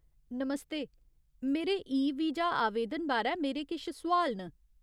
नमस्ते, मेरे e visa आवेदन बारै मेरे किश सोआल न।